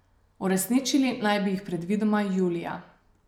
Uresničili naj bi jih predvidoma julija.